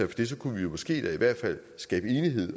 det så kunne vi jo måske da i hvert fald skabe enighed